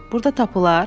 Burda tapılar?